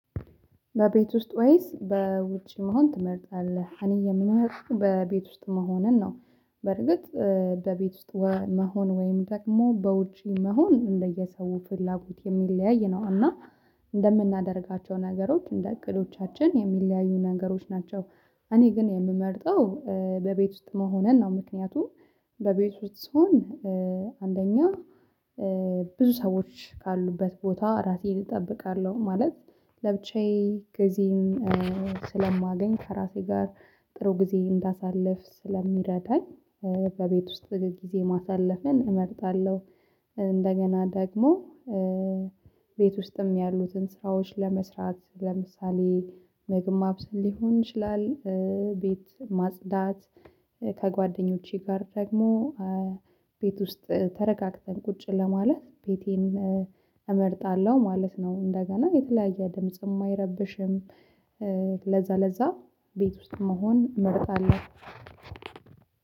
በቤት ውስጥ ወይስ በውጪ መሆን ትመርጣለህ? እኔ የምመርጠው በቤት ውስጥ መሆንን ነው። በርግጥ በቤት ውስጥ መሆን ወይም ደግሞ በውጪ መሆን እንደየሰው ፍላጎት የሚለያይ ነው እና እንደምናደርጋቸው ነገሮች እንደ እቅዶቻችን የሚለያዩ ነገሮች ናቸው። እኔ ግን የምመርጠው በቤት ውስጥ መሆኑን ነው። ምክንያቱም በቤት ውስጥ ስሆን አንደኛ ብዙ ሰዎች ካሉበት ቦታ ራሴን እጠብቃለሁ ማለት ለብቻዬ ጊዜን ስለማገኝ ከራሴ ጋር ጥሩ ጊዜ እንዳሳልፍ ስለሚረዳኝ። በቤት ውስጥ ጊዜ ማሳለፍን እመጣለሁ። እንደገና ደግሞ ቤት ውስጥም ያሉትን ስራዎች ለመስራት ለምሳሌ ምግብ ማብሰል ሊሆን ይችላል። ቤት ማጽዳት ከጓደኞቼ ጋር ደግሞ ቤት ውስጥ ተረጋግተን ቁጭ ለማለት ቤቴን እመርጣለሁ ማለት ነው። እንደገና የተለያየ ድምጽ አይረብሽም፤ ለዛ ለዛ ቤት ውስጥ መሆን እመርጣለሁ።